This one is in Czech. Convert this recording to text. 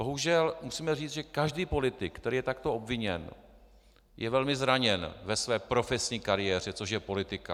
Bohužel musíme říct, že každý politik, který je takto obviněn, je velmi zraněn ve své profesní kariéře, což je politika.